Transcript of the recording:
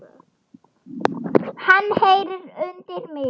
Hann heyrir undir mig.